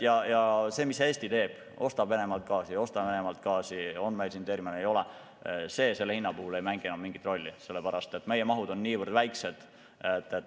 Ja see, mida Eesti teeb, kas ostab Venemaalt gaasi või ei osta Venemaalt gaasi, kas on meil siin terminal või ei ole – see selle hinna puhul ei mängi mingit rolli, sellepärast et meie mahud on niivõrd väikesed.